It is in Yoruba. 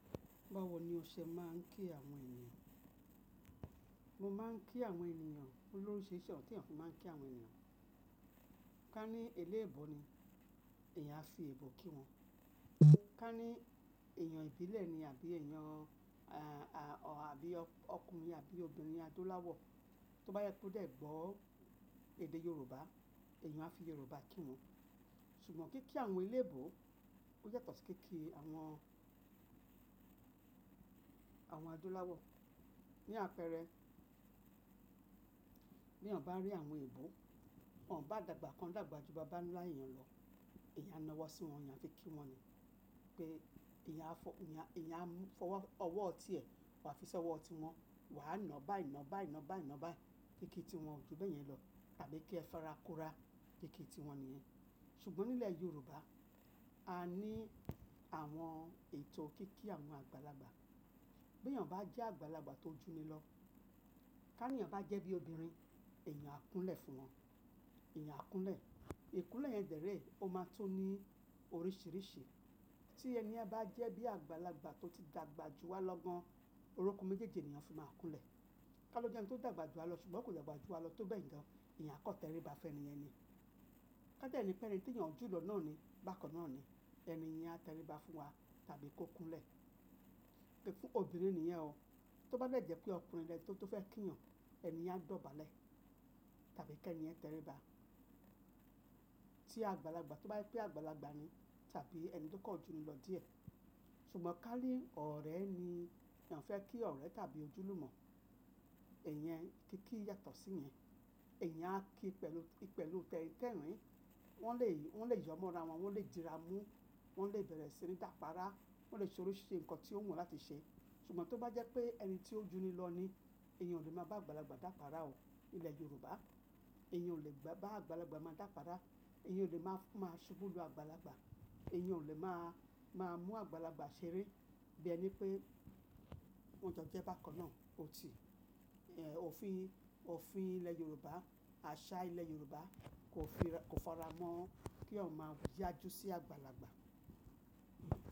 Bawo ni ọṣẹ máa ń kí àwọn ènìyàn. Mo máa ń kí àwọn ènìyàn pelu oríṣirisi ona tí eyan fi máa ń kí àwọn ènìyàn. Ká ní eléèbó ni, èèyàn á fi èèbó kí wọn. Ká ní èèyàn ìbílẹ̀ ni àbí èèyàn, à, à, ọ, àbí ọkùnrin àbí obìnrin Adóláwọ̀, tó bá jepẹ́ odé gbọ́ èdè Yorùbá, èèyàn á fi Yorùbá kí wọn. Ṣùgbọ́n kí kí àwọn eléèbó ó yàtọ̀ sí kí kí àwọn, àwọn Adóláwọ̀. Ni àpẹẹrẹ, bí èèyàn bá rí àwọn èèbó, wọ́n ò bá dàgbà kan dàgbà ju bàbá ńlá èèyàn lọ, èèyàn á na wọ́n sí wọn, èèyàn aa fi kí wọn ni pé èèyàn á fọ́, èèyàn, èèyàn á fọwọ́ ọwọ́ tí ẹ̀, wà á fi ṣi ọwọ́ tí wọn. Wà á na báyii na, báyii na, báyii na báyìí. Kí kí tí wọn ò ju bẹ́ẹ̀ yẹn lọ, tàbí kí ẹ fẹ́ ra kò rá, kí kí tí wọn nìyẹn. Ṣùgbọ́n nílẹ̀ Yorùbá, a ní àwọn ètò kí kí àwọn àgbàlagbà. Bí èèyàn bá jẹ́ àgbàlagbà tó juni lọ, ká ní èèyàn bá jẹ́ bí obìnrin, èèyàn á kúnlẹ̀ fún wọn. Ẹ̀yàn á kúnlẹ̀. Ìkúnlẹ̀ yẹn dèérè o máa tó ní oríṣìíríṣìí. Tí ẹniyen bá jẹ́ bí àgbàlagbà tó ti dàgbà ju wa lọ gan, orokun méjèèjì nhi èèyàn fi máa ń kúnlẹ̀. Ká lọ jẹ́ ẹni tó dàgbà ju wa lọ ṣùgbọ́n kò dàgbà ju wa lọ tó bẹ́ẹ̀ gan, èèyàn á kọ̀tẹ́ríba fẹ́ni yẹn ni. Ká dẹ́ ni pẹ́ni tí èèyàn jù lọ náà ni, bákan náà ni, ẹniyen á tẹríba fún wa tàbí kó kúnlẹ̀. Ki fún obìnrin niyen o. Tó bá dè jẹ́ pé ọkùnrin lẹ̀ni tí ó fẹ́ kí ìyàn, ẹni yen a dọ̀bálẹ̀ tàbí kí ẹni ẹ tẹríba. Tí àgbàlagbà tó bá je pé àgbàlagbà ni tàbí ẹni tó kàn juni lọ díẹ̀. Ṣùgbọ́n ká ní ọ̀rẹ́ ni èèyàn fẹ́ kí ọ̀rẹ́ tàbí ojúlùmọ̀, iyen kí kí yàtọ̀ sí yẹn. Ẹ̀eyàn á kí pẹ̀lú, pẹ̀lú tẹ́rin-tẹ́rin. Wọ́n lè, wọ́n lè yọmọ́ ra wọn, wọ́n lè dira mú, wọ́n lè bẹ̀rẹ̀ sí ní dàpara, wọ́n lè ṣe oríṣi nǹkan tí ó wù wọ́n láti ṣe. Ṣùgbọ́n tó bá jẹ́ pé ẹni tí ó juni lọ ni, èèyàn ò lè máa bá àgbàlagbà dàpara o. Nílẹ̀ Yorùbá, èèyàn ò lè gba, bá àgbàlagbà máa dàpara, èèyàn ò lè máa, máa ṣubú lu àgbàlagbà, èèyàn ò lè máa, máa mú àgbàlagbà ṣeré. Bí ẹni pé wọn jọ jẹ́ bákan náà, ò ti, èh, òfin, òfin ilẹ̀ Yorùbá, àṣà ilẹ̀ Yorùbá kò fi ra, kò faramọ́ kí eeyan máa yájú sí àgbàlagbà.